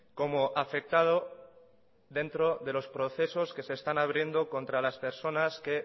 como afectado dentro de los procesos que se están abriendo contra las personas que